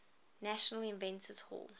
national inventors hall